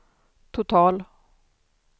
total